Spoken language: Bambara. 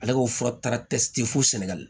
Ale ko fura ta tɛ sitɛ fo sɛnɛgali